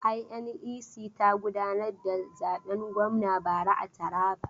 INEC ta gudanar da zaben gwamna bara a Taraba.